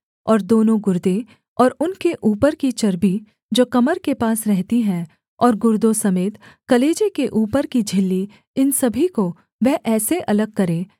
और दोनों गुर्दे और उनके ऊपर की चर्बी जो कमर के पास रहती है और गुर्दों समेत कलेजे के ऊपर की झिल्ली इन सभी को वह ऐसे अलग करे